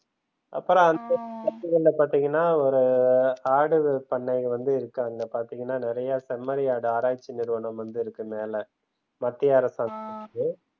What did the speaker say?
அப்பறம் அங்கன்ங்க பாத்தீங்கன்னா ஒரு ஆடுகள் பண்ணை வந்து இருக்கு. பார்த்தீங்கன்னா, நிறைய செம்மறியாடு ஆராய்ச்சி நிறுவனம் வந்து இருக்கு மேல மத்திய அரசாங்க